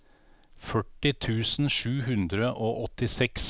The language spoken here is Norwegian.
førti tusen sju hundre og åttiseks